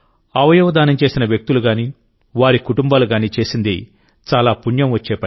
అవయవదానం చేసిన వ్యక్తులు గానీవారి కుటుంబాలుగానీ చేసింది చాలా పుణ్యం వచ్చే పని